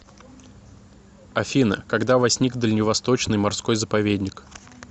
афина когда возник дальневосточный морской заповедник